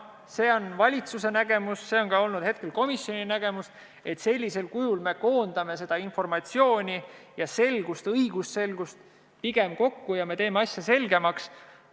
See on valitsuse nägemus ja hetkel ka komisjoni nägemus, et sellisel kujul me koondame seda informatsiooni ja suurendame õigusselgust, teeme asja selgemaks.